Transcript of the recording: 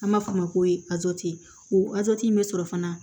An b'a fɔ o ma ko o in bɛ sɔrɔ fana